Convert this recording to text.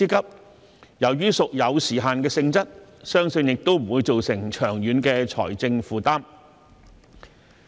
由於失業援助金屬有時限的性質，相信不會造成長遠財政負擔。